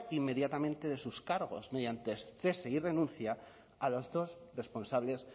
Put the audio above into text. inmediatamente de sus cargos mediante cese y renuncia a los dos responsables